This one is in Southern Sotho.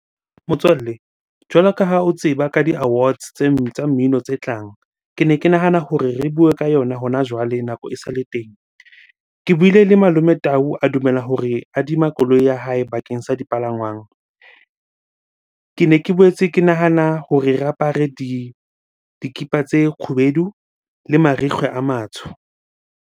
Motswalle, jwalo ka ha o tseba ka di-awards tsa mmino tse tlang. Kene ke nahana hore re bue ka yona hona jwale nako esale teng. Ke buile le Malome Tau, a dumela hore e adima koloi ya hae bakeng sa dipalangwang. Kene ke boetse ke nahana hore re apare dikipa tse kgubedu le marikgwe a matsho.